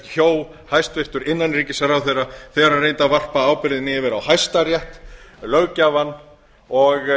hjó hæstvirtur innanríkisráðherra þegar hann reyndi að varpa ábyrgðinni yfir á hæstarétt löggjafann og